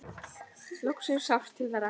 Loksins sást til þeirra.